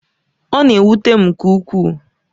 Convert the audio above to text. Ọ na-ewute m nke ukwuu